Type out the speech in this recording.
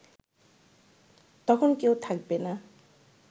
তখন কেউ থাকবে না